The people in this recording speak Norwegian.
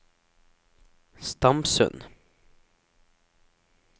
Stamsund